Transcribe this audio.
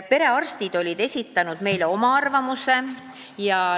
Perearstid olid esitanud meile oma arvamuse.